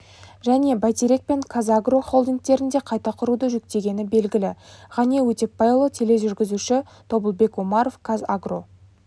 және бәйтерек пен қазагро холдингтерін де қайта құруды жүктегені белгілі ғани өтепбайұлы тележүргізуші тобылбек омаров қазагро